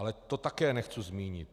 Ale to také nechci zmínit.